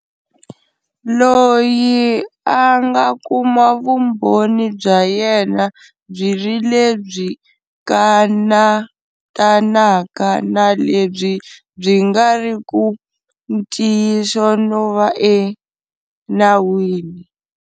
Loyi a nga kuma vumbhoni bya yena byi ri lebyi kanatanaka na lebyi byi nga ri ku ntiyiso no va e nawini.